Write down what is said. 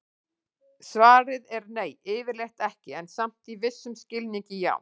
Svarið er nei, yfirleitt ekki, en samt í vissum skilningi já!